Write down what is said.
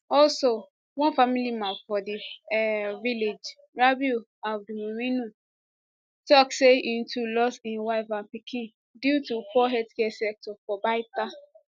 also one family man for di village rabiu abdulmuminu tok say im too lose im wife and pikin due to poor healthcare sector for baita